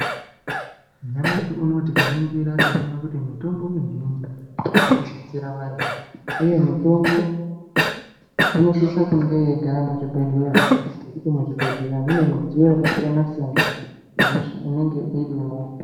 Nyamashi uno tikaningira tinoona kuti mitombo mizhinji inodetsera vantu, uye mitombo inosise kunge yeigara muchibhedhlera, ngekuti muchibhedhlera mune midziyo yakasiyana-siyana inenge irimo.